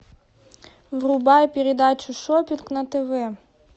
врубай передачу шоппинг на тв